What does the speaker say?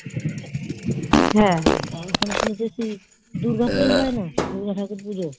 হ্যাঁ এখানে শুনে এসেছি দুর্গ পুজো হয়না দূর্গা ঠাকুর পুজো?